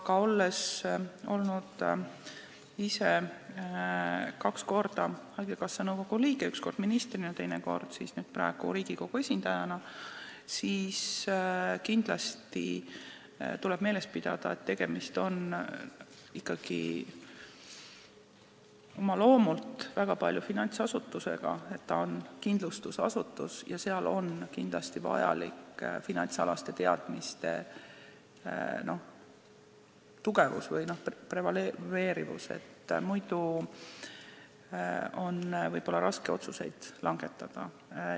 Aga olen ise olnud kaks korda haigekassa nõukogu liige, üks kord ministrina, teine kord praegu Riigikogu esindajana, ja võin öelda, et kindlasti tuleb meeles pidada, et tegemist on ikkagi oma loomult väga suures osas finantsasutusega, see on kindlustusasutus ja seal on kindlasti vaja finantsalaste teadmiste tugevust või prevaleerimist, muidu võib olla raske otsuseid langetada.